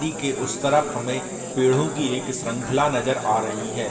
दी के उस तरफ हमें पेड़ो की एक संखला नजर आ रही है।